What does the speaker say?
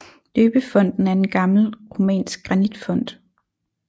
Døbefonten er en gammel romansk granitfont